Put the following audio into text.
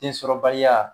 Densɔrɔbaliya